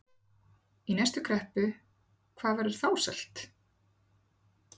Í næstu kreppu, hvað verður þá selt?